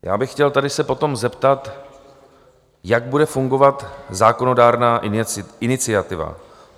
Já bych chtěl tady se potom zeptat, jak bude fungovat zákonodárná iniciativa.